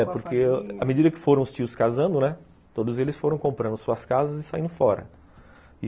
É, porque à medida que foram os tios casando, né, todos eles foram comprando suas casas e saindo fora.